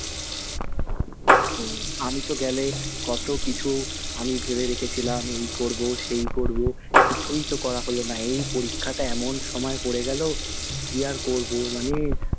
আমি তো গেলে কতো কিছু আমি ভেবে রেখেছিলাম, এই করবো, সেই করবো, কিছুই তো করা হলো না। এই পরীক্ষাটা এমন সময় পড়ে গেলো, কি আর করবো। মানে,